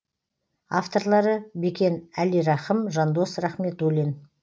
авторлары бекен әлирахым жандос рахметуллин